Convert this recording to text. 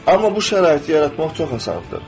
Amma bu şəraiti yaratmaq çox asandır.